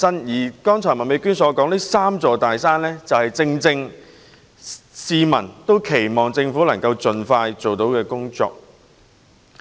麥美娟議員剛才提到的"三座大山"，正是市民期望政府可以盡快處理的問題。